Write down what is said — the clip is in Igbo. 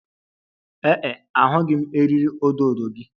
Ee e, ahụghị m eriri odo odo gị